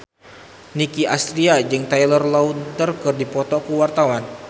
Nicky Astria jeung Taylor Lautner keur dipoto ku wartawan